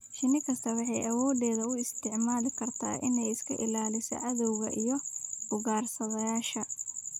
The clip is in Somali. Shinnida shaqaysta waxay awoodeeda u isticmaali kartaa inay iska ilaaliso cadawga iyo ugaarsadayaasha.